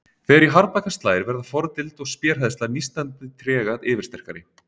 Þegar í harðbakka slær verða fordild og spéhræðsla nístandi trega yfirsterkari.